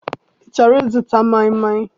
I chọrọ ịzụta maịmaị?